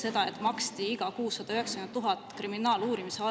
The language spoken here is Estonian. … ja see, et maksti iga kuu 190 000 kriminaaluurimise all …